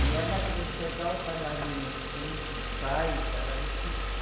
E ela, para enxergar os bailarinos em ensaios, era difícil.